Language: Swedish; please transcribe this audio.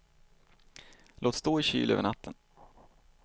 Låt stå i kyl över natten.